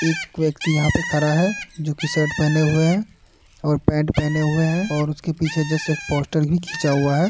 एक व्यक्ति यहाँ पर खड़ा है जो की शर्ट पहने हुए है और पैंट पहने हुए है और उसके पीछे जस्ट एक पोस्टर भी खींचा हुआ है।